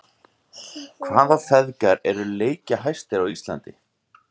Hvaða feðgar eru leikjahæstir á Íslandi?